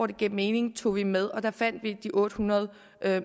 der gav mening tog vi med og der fandt vi de otte hundrede